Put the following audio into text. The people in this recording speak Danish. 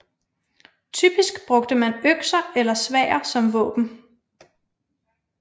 Typisk brugte man økser eller sværd som våben